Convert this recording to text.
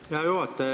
Hea juhataja!